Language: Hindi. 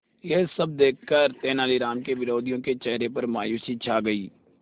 यह सब देखकर तेनालीराम के विरोधियों के चेहरे पर मायूसी छा गई